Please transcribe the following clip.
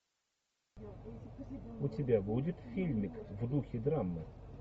у тебя будет фильмик в духе драмы